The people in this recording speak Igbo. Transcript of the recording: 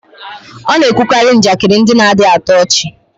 ọ na-ekwukarị njakịrị ndị na-adịghị atọ ọchị